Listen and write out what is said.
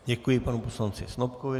Děkuji panu poslanci Snopkovi.